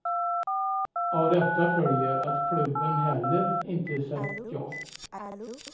Av detta följer att klubben heller inte sagt ja.